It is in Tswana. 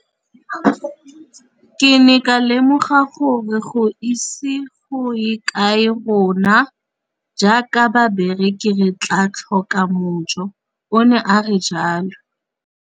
Ke ne ka lemoga gore go ise go ye kae rona jaaka barekise re tla tlhoka mojo, o ne a re jalo.